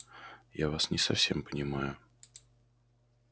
я вас не совсем понимаю